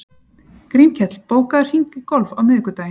Grímkell, bókaðu hring í golf á miðvikudaginn.